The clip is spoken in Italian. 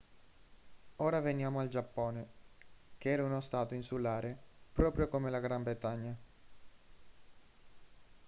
ora veniamo al giappone che era uno stato insulare proprio come la gran bretagna